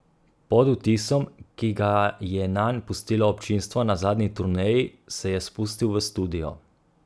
Pod vtisom, ki ga je nanj pustilo občinstvo na zadnji turneji, se je spustil v studio.